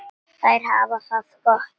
Þær hafa það gott.